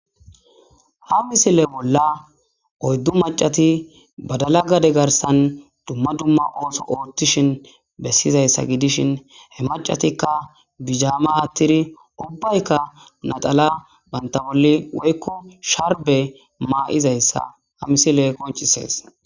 ha misile bolla oyddu macati badala gade garsan dumma dumma ooso qootishin bessizayssa gidishin he macatikka bijaama aattiri ubbaykka nadala banta bolli woykko sharbe maaizayssa ha misile koncisees